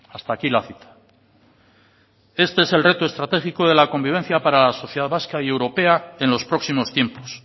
hasta aquí la cita este es el reto estratégico de la convivencia para la sociedad vasca y europea en los próximos tiempos